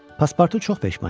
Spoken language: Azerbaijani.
Paspartu çox peşman idi.